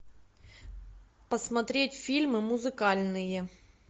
посмотреть фильмы музыкальные